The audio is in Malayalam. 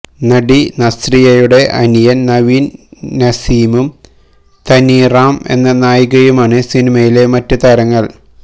നടി നസ്രിയയുടെ അനിയന് നവീന് നസീമും തന്വി റാം എന്ന നായികയുമാണ് സിനിമയിലെ മറ്റ് താരങ്ങള്